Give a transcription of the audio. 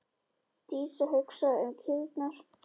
Dísa hugsaði um kýrnar.